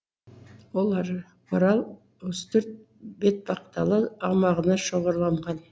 олар орал үстірт бетпақдала аумағына шоғырланған